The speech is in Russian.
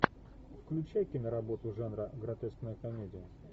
включай киноработу жанра гротескная комедия